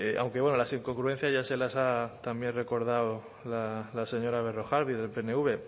aunque bueno las incongruencias ya se las ha también recordado la señora berrojalbiz del pnv